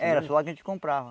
Era só lá que a gente comprava.